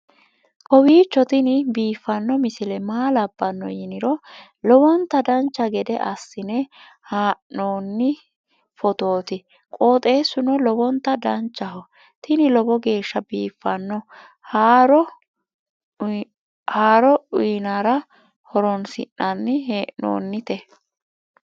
kowiicho tini biiffanno misile maa labbanno yiniro lowonta dancha gede assine haa'noonni foototi qoxeessuno lowonta danachaho. tini lowo geeshsha biiffanno haaro uyannara horoonsi'nanni hee'noonite